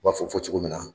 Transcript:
U b'a fɔ fɔ fɔ cogo min na